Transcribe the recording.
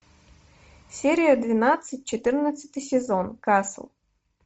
серия двенадцать четырнадцатый сезон касл